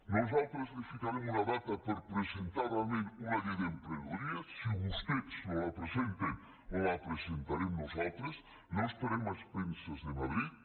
nosaltres li ficarem una data per presentar realment una llei d’emprenedoria si vostès no la presenten la presentarem nosaltres no estarem a expenses de madrid